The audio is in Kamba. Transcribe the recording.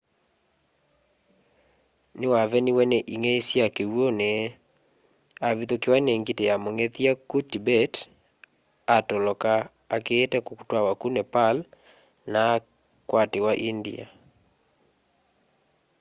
niwaveniwe ni ing'ei sya kiw'uni avithukiwa ni ngiti ya mung'ethya ku tibet atoloka akiite kutw'awa ku nepal na akwatiwa india